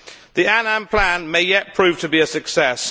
The Annan Plan may yet prove to be a success.